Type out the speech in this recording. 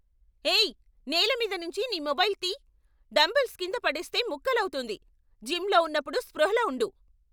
ఏయ్ నేల మీద నుంచి నీ మొబైల్ తీయ్, డంబెల్స్ కింద పడేస్తే ముక్కలవుతుంది, జిమ్లో ఉన్నప్పుడు స్పృహలో ఉండు.